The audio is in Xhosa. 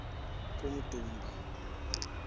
kummdumba